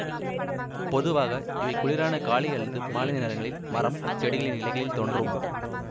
பொதுவாக இவை குளிரான காலை அல்லது மாலை நேரங்களில் மரம் செடிகளின் இலைகளில் தோன்றும்